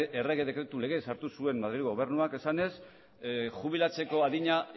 errege dekretu legez sartu zuen madrilgo gobernuak esanez jubilatzeko adina